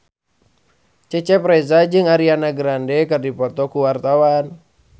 Cecep Reza jeung Ariana Grande keur dipoto ku wartawan